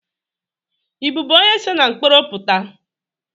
Ị bụbu onye se na mkporo puta?